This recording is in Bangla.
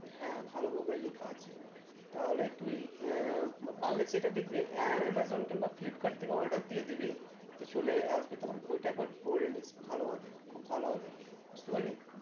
হ্যাঁ ভালো ভাবেই লেখা আছে তাহলে তুই আহ পারলে সেটা দেখবি আহ amazon কিংবা flipkart থেকে order দিয়ে দিবি তো চলে আসবে তখন বইটা একবার পরে নিস ভালো ভাবে খুব ভালো ভাবে বুঝতে পারলি?